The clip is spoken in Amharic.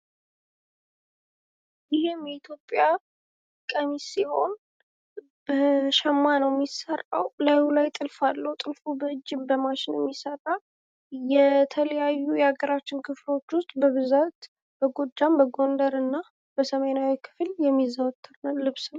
ይሄም የኢትዮጵያ ቀሚስ ሲሆን በሸማ ነዉ የሚሰራዉ ላዩ ላይ ጥልፍ አለዉ። ጥልፉ በእጅም በማሽንም ይሰራል። የተለያዩ የአገራችን ክፍሎች ዉስጥ በብዛት በጎጃም፣ በጎይደር እና በሰሜናዊ ክፍል የሚዘወተር ነዉ።